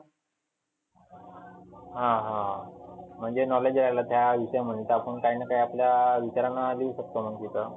हा हा म्हणजे knowledge घ्यायला त्या विषयामध्ये आपण काहीना काही आपल्या विचारानं लिहु शकतो आपण तिथं.